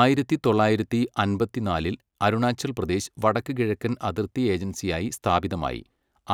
ആയിരത്തി തൊള്ളായിരത്തി അമ്പത്തിനാലിൽ അരുണാചൽ പ്രദേശ് വടക്കുകിഴക്കൻ അതിർത്തി ഏജൻസിയായി സ്ഥാപിതമായി,